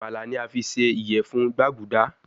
Amala ni a fi ṣe iyẹfun gbaguda